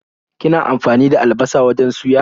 Kina amfani da albasa wajen suya?